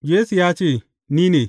Yesu ya ce, Ni ne.